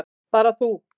Bara þú.